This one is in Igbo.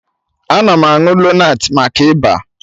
Ana m aṅụ lonat maka Ịba